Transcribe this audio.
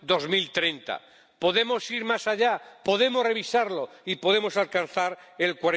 2030. Podemos ir más allá, podemos revisarlo y podemos alcanzar el